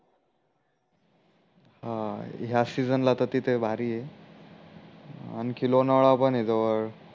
अं ह्या सीजन ला त तिथे भारी आहे आणखी लोणावळा पण आहे जवड